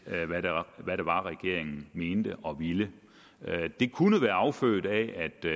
var regeringen mente og ville det kunne være affødt af